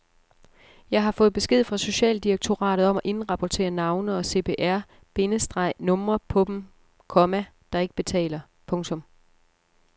Jeg har fået besked fra socialdirektoratet om at indrapportere navne og CPR- bindestreg numre på dem, komma der ikke betaler. punktum